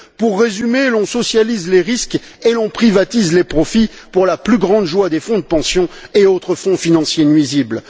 Pour résumer, on socialise les risques et on privatise les profits pour la plus grande joie des fonds de pension et autres fonds financiers nuisibles.